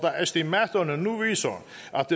estimaterne nu viser